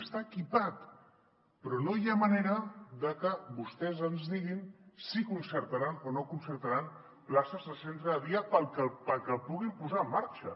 està equipat però no hi ha manera de que vostès ens diguin si concertaran o no concertaran places de centre de dia perquè el puguin posar en mar·xa